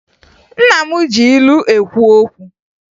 Nna m ji ilu ekwu okwu